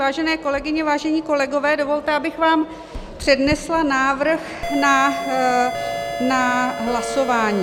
Vážené kolegyně, vážení kolegové, dovolte, abych vám přednesla návrh na hlasování.